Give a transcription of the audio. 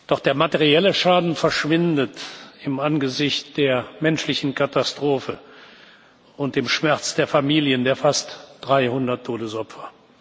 Doch der materielle Schaden verschwindet im Angesicht der menschlichen Katastrophe und des Schmerzes der Familien der fast 300 Todesopfer.